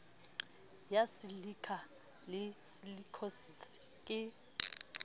ya silikha le silikhosis ke